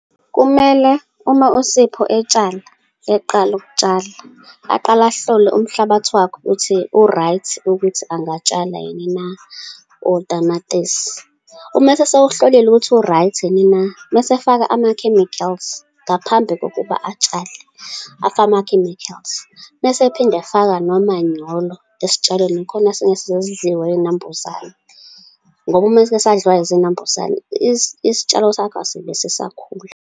Kumele uma uSipho etshala, eqala ukutshala, aqale ahlole umhlabathi wakhe ukuthi u-right ukuthi angatshala yini na, otamatisi. Uma esewuhlolile ukuthi u-right yini na, masefaka ama-chemicals, ngaphambi kokuba atshale, afake ama-chemicals, mesephinda efaka nomanyolo esitshalweni, khona singeke sidliwe iy'nambuzane. Ngoba uma sesike sasadliwa iy'nambuzane isitshalo sakho asibe sisakhula.